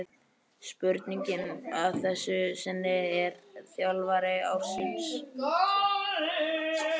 Spurningin að þessu sinni er: Þjálfari ársins?